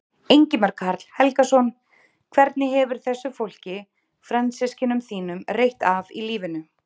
Ingimar Karl Helgason: Hvernig hefur þessu fólki, frændsystkinum þínum, reitt af í lífinu?